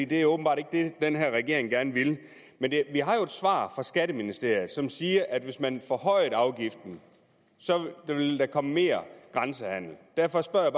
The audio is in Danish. det er åbenbart ikke det den her regering gerne vil men vi har jo et svar fra skatteministeriet som siger at hvis man forhøjede afgiften ville der komme mere grænsehandel derfor spørger